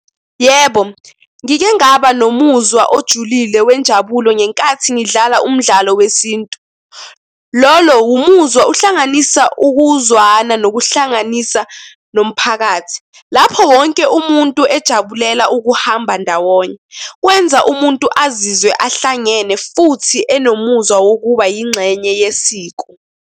Yebo, ngike ngaba nomuzwa ojulile wenjabulo ngenkathi ngidlala umdlalo wesintu. Lolo umuzwa uhlanganisa ukuzwana nokuhlanganisa nomphakathi, lapho wonke umuntu ejabulela ukuhamba ndawonye, kwenza umuntu azizwe ahlangene futhi anomuzwa wokuba yingxenye yesiko.